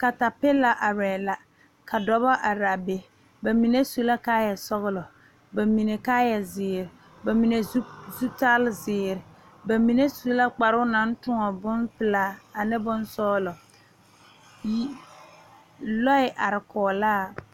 Katapila are la ka dɔɔba are be bamine su la kaaya sɔglɔ, bamine kaaya ziiri, bamine zutal ziiri bamine su la kparo naŋ toɔ bonpelaa ane bonsɔglɔ yi lɔɛ are kɔŋ la.